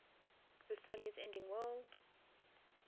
versailles ending world